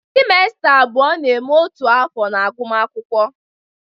semesters abụọ na-eme otu afọ agụmakwụkwọ.